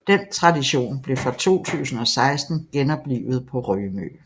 Den tradition blev fra 2016 genoplivet på Rømø